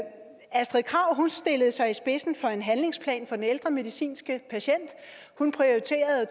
astrid krag stillede sig i spidsen for en handlingsplan for ældre medicinske patienter hun prioriterede at